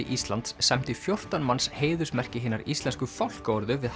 Íslands sæmdi fjórtán manns heiðursmerki hinnar íslensku fálkaorðu við